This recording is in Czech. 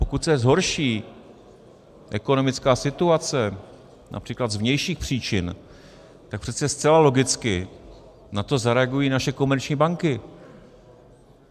Pokud se zhorší ekonomická situace například z vnějších příčin, tak přece zcela logicky na to zareagují naše komerční banky.